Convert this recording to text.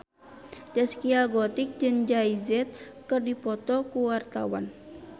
Zaskia Gotik jeung Jay Z keur dipoto ku wartawan